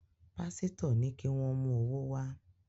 Pásítọ̀ ní kí wọ́n mú owó wá